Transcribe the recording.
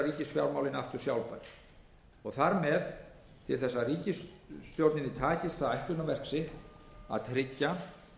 ríkisfjármálin aftur sjálfbær og þar með til þess að ríkisstjórninni takist það ætlunarverk sitt að tryggja